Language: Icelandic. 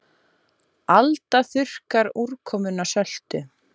Alda þurrkar úrkomuna söltu